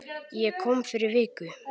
Ég kom fyrir viku